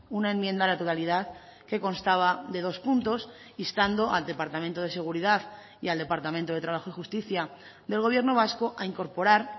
una enmienda a la totalidad que constaba de dos puntos instando al departamento de seguridad y al departamento de trabajo y justicia del gobierno vasco a incorporar